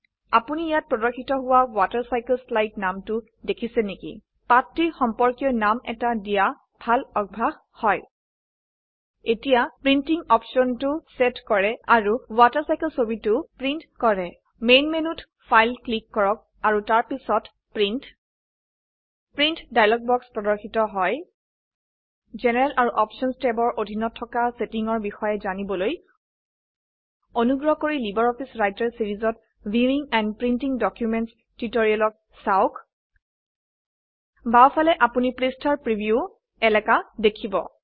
আপোনিইয়াতপ্ৰৰ্দশিতহোৱাWaterCycleSlide নামটোদেখিছেনেকি পাঠটিৰ সম্পৰ্কীয়নামএটাদিয়াভালঅভয়াসহয় এতিয়াপ্ৰিন্টিঙঅপছনটোসেতকৰোআৰুWaterCycle ছবিটোপ্ৰিন্টকৰো মেইনমেনুতফাইলক্লিককৰকতাৰপিছতপ্ৰিন্ট প্ৰিন্টডাইলগবক্চপ্ৰৰ্দশিতহয় GeneralআৰুOptionsটেব্চৰঅধিনতথকাচেটিন্ঙচৰবিষয়েজানিবলৈ অনুগ্ৰহকৰিLibreOffice WriterচিৰিজতViewing এণ্ড প্ৰিণ্টিং Documentsচটিউটৰিয়েলচাওক বাও ফালে আপোনি পৃষ্ঠাৰ প্ৰিভিউ এলাকা দেখীব